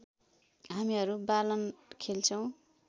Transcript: हामीहरू बालन खेल्छौँ